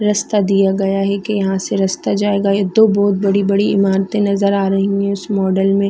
रस्ता दिया गया है की यहाँ से रस्ता जाएगा ये दो बहोत बड़ी-बड़ी इमारते नज़र आ रही है इस मॉडल में--